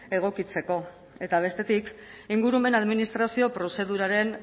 egokitzeko eta bestetik ingurumen administrazio prozeduraren